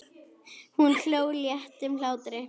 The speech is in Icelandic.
Hún hló léttum hlátri.